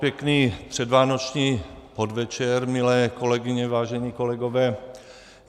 Pěkný předvánoční podvečer, milé kolegyně, vážení kolegové.